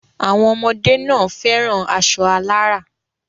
Àwọn ọmọdé náà fẹ́ran aṣọ alárà.